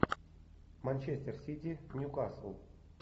манчестер сити ньюкасл